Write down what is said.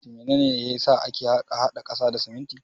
Mene ne ya sa ake hada ƙasa da siminti?